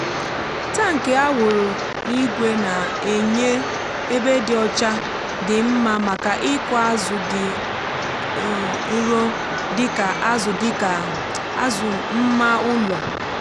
tankị a wụrụ n’ígwè na-enye ebe dị ọcha dị mma maka ịkụ azụ dị nro dịka azụ dịka azụ mma ụlọ.